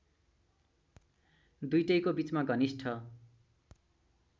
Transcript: दुईटैको बीचमा घनिष्ठ